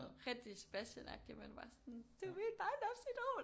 Rigtig Sebastianagtig man var bare sådan du mit barndomsidol